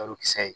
Yɔrɔkisɛ ye